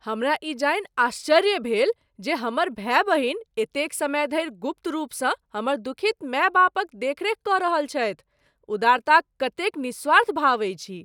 हमरा ई जानि आश्चर्य भेल जे हमर भाय बहिन एतेक समय धरि गुप्त रूपसँ हमर दुखित माय बापक देखरेख कऽ रहल छथि । उदारताक कतेक निस्वार्थ भाव अछि ई ।